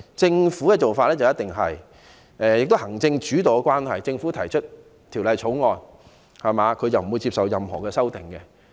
正因為行政主導的緣故，政府所提交的條例草案，一定不會接受任何修訂。